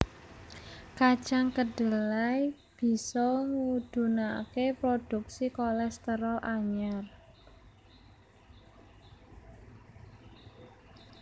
Kacang kedelai bisa ngudunaké produksi kolésterol anyar